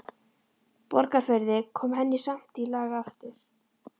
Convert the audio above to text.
Borgarfirði, kom henni í samt lag aftur.